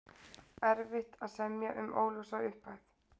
Erfitt að semja um óljósa upphæð